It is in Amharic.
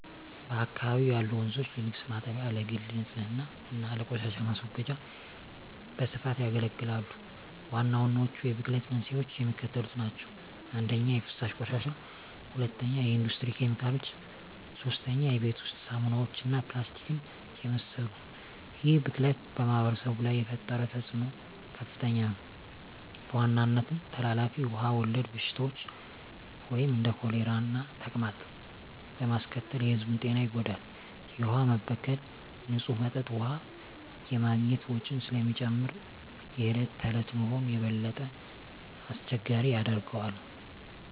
በአካባቢው ያሉ ወንዞች ለልብስ ማጠቢያ፣ ለግል ንፅህና እና ለቆሻሻ ማስወገጃ በስፋት ያገለግላሉ። ዋናዎቹ የብክለት መንስኤዎች የሚከተሉት ናቸው - 1) የፍሳሽ ቆሻሻ 2) የኢንዱስትሪ ኬሚካሎች 3) የቤት ውስጥ ሳሙናዎች እና ፕላስቲክን የመሰሉ ይህ ብክለት በማኅበረሰቡ ላይ የፈጠረው ተፅዕኖ ከፍተኛ ነው፤ በዋናነትም ተላላፊ ውሃ ወለድ በሽታዎችን (እንደ ኮሌራና ተቅማጥ) በማስከተል የሕዝቡን ጤና ይጎዳል። የውሃ መበከል ንፁህ መጠጥ ውሃ የማግኘት ወጪን ስለሚጨምር የዕለት ተዕለት ኑሮን የበለጠ አስቸጋሪ ያደርገዋል።